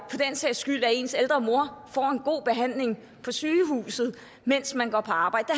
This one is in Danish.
sags skyld at ens ældre mor får en god behandling på sygehuset mens man går på arbejde